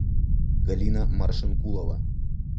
галина маршенкулова